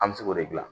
An bɛ se k'o de gilan